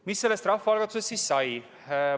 Mis sellest rahvaalgatusest siis sai?